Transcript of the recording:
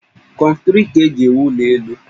Kọnkịrị ka eji ewụ ụlọ elụ